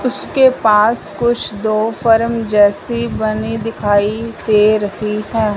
उसके पास कुछ दो फ़रम जैसी बनी दिखाई दे रही हैं।